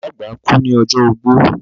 ìyá àgbà kú ní ọjọ́ ogbó.